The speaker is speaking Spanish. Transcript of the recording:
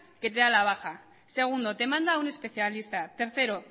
que te da la baja segundo te manda a un especialista tercero